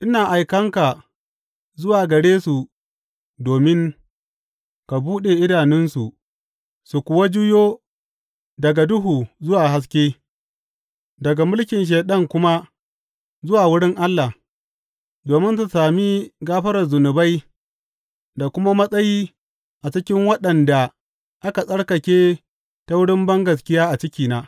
Ina aikan ka zuwa gare su domin ka buɗe idanunsu su kuwa juyo daga duhu zuwa haske, daga mulkin Shaiɗan kuma zuwa wurin Allah, domin su sami gafarar zunubai da kuma matsayi a cikin waɗanda aka tsarkake ta wurin bangaskiya a cikina.’